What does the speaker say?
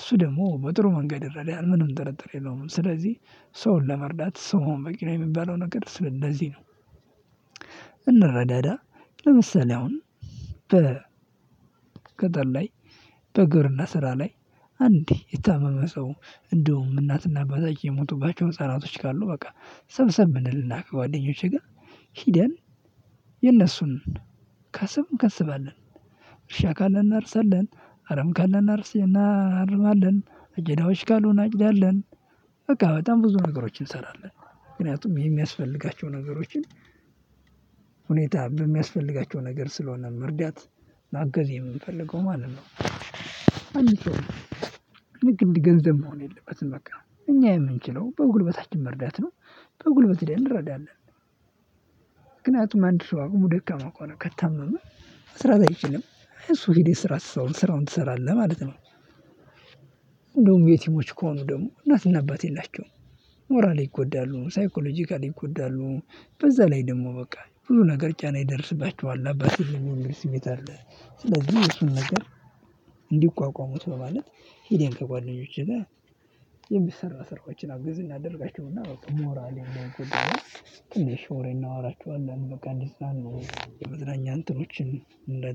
እሱ ደግሞ በጥሩ መንገድ ይረዳሀል ምንም ጥርጥር የለውም። ስለዚህ ሰውን ለመርዳት ሰው መሆን በቂ ነው የሚባለው ነገር ስለዚህ ነው። እንረዳዳ ለምሳሌ አሁን ገጠር ላይ በግብርና ስራ ላይ አንድ የታመመ ሰው እንዲሁም እናትና አባታቸው የሞቱባቸው ህፃናቶች ካሉ ሰብሰብ እንልና ከጓደኞቼ ጋር ሄደን የእነሱን ከስም ከስባለን እርሻ ካለን እናርሳለን፣ አረም ካለን እናርስና እናርማለን አጨዳዎች ካሉ እናጭዳለን በቃ በጣም ብዙ ነገሮችን እንሰራለን ምክንያቱም የሚያስፈልጋቸው ነገሮችን ሁኔታ በሚያስፈልጋቸው ነገር ስለሆነ መርዳት ማገዝ የምንፈልገው ማለት ነው። አንድን ሰው ልክ እንደ ገንዘብ መሆን የለበትም በቃ እኛ የምንችለው በጉልበታችን መርዳት ነው በጉልበት ሄደን እንረዳለን። ምክንያቱም አንድ ሰው አቅሙ ደካማ ከሆነ ከታመመ መስራት አይችልም እሱ ጋ ሄደህ ስራ ስራውን ትሰራለህ ማለት ነው። እንደውም የቲሞች ከሆኑ ደግሞ እናትና አባት የላቸውም ሞራሊ ይጎዳሉ ሳይኮሎጂካል ይጎዳሉ። በዛ ላይ ደግሞ በቃ ብዙ ነገር ጫና ይደርስባቸዋል አባት ሲሞት ስሜት አለ ስለዚህ እሱን ነገር እንዲቋቋሙት በማለት ሄደን ከጓደኞቼ ጋር የሚሰራ ስራዎችን አገዝ እናደርጋቸውና በቃ ሞራሊ እንደሆንኩኝ ትንሽ ወሬ እናወራቸዋለን በቃ እንዲፅናኑ የመፅናኛ እንትኖችን እናደርጋለን።